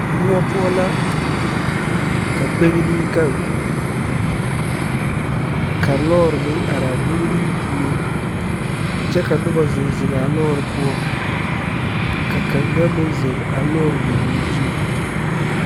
Moɔ poɔ la ka gbeni gaŋ ka lɔre meŋ are a gbemi puoriŋ kyɛ ka noba zeŋ zeŋaa lɔre poɔ ka kaŋa meŋ zeŋ a lɔre nyɔboore zuriŋ